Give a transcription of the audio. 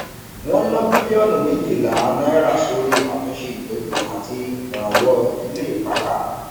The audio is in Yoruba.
wọn ná bílíọnù méjìlá ngn sórí àtúnṣe ìtọjú àti ìrànwọ ilé ìpakà